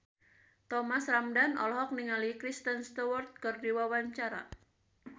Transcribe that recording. Thomas Ramdhan olohok ningali Kristen Stewart keur diwawancara